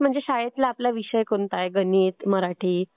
नाही म्हणजे शाळेतला आपला विषय कुठला आहे? गणित? मराठी?